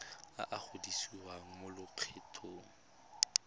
a a gogiwang mo lokgethong